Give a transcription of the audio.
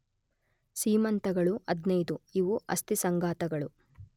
ಸೀಮಂತಗಳು 15, ಇವು ಅಸ್ಥಿಸಂಘಾತಗಳು.